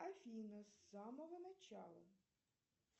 афина с самого начала